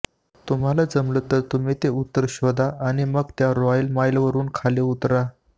तुम्हाला जमलं तर तुम्ही ते उत्तर शोधा आणि मग त्या रॉयल माईलवरून खाली उतरा